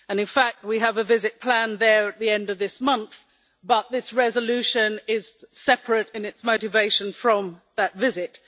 In fact, we have a visit planned there at the end of this month, but this resolution is separate in its motivation from that visit.